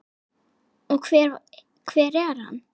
Og hver er hann?